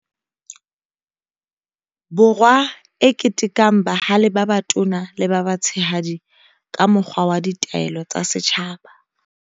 Borwa e ketekang bahale ba batona le ba batshehadi ka mokgwa wa Ditaelo tsa Setjhaba.